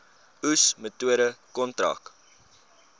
oes metode kontrak